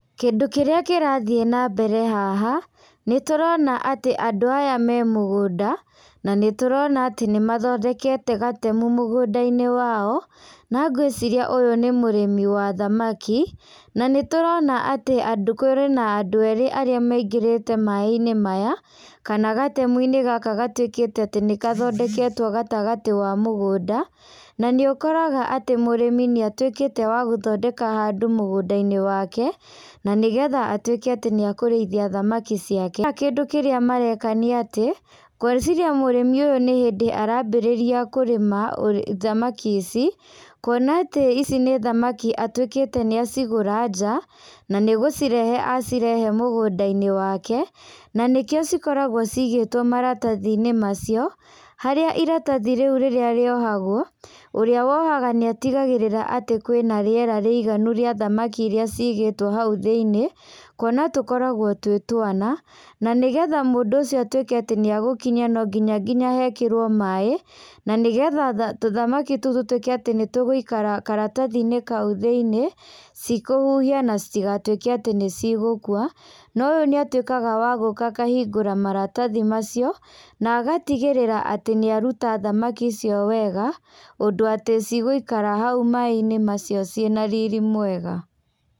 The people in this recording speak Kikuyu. Kindũ kĩrĩa kĩrathiĩ na mbere haha, nĩ tũrona atĩ andũ aya me mũgũnda na nĩtũrona atĩ nĩ mathondekete gatemu mũgunda-inĩ wao, na ngwĩciria ũyũ nĩ mũrĩmi wa thamaki na nĩtũrona atĩ kwĩ na andũ erĩ arĩa maingĩrĩte maĩ-inĩ maya kana gatemu-inĩ gaka gatuĩkĩte atĩ nĩgathondeketwo gatagatĩ ka mũgũnda, na nĩ ũkoraga atĩ mũrĩmi nĩ atuĩkĩte wa gũthondeka handũ mũgũnda-inĩ wake, na nĩgetha atuĩke nĩ akũrĩithia thamaki ciake. Kĩndũ kĩrĩa mareka nĩ atĩ ngwĩciria mũrĩmi ũyũ nĩ hĩndĩ arambĩrĩria kũrĩma thamaki ici, kũona atĩ ici nĩ thamaki atuĩkite nĩacigura nja na nĩ gũcirehe acirehe mũgũnda-inĩ wake, na nĩkĩo cikoragwo cigĩtwo maratathi-inĩ macio, harĩa ĩratathi rĩũ rĩrĩa rĩohagwo, ũrĩa wohaga nĩ atigagĩrĩra atĩ kwĩ na rĩera rĩiganu rĩa thamaki iria cigetwo hau thĩiniĩ, kũona tũkoragwo twĩ twana, na nĩgetha mũndũ ũcio atuĩke atĩ nĩegũkinya no nginya nginya hekĩrwo maĩ, na nĩgetha tũ thamaki tũu tũtuĩke atĩ nĩ tũgũikara karatathi-inĩ kau thĩiniĩ citikũhũhia, na citigatuĩke atĩ nĩ cigũkũa, ũyũ nĩ atuĩkaga wa gũka na akahingũra maratathi macio, na agatigĩrĩra atĩ nĩ arũta thamaki icio wega ũndũ atĩ cigũikara hau maĩ-inĩ macio ci na riri mwega.